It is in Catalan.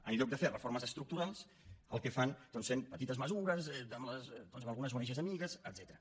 en lloc de fer reformes estructurals el que fan doncs són petites mesures amb algunes ong amigues etcètera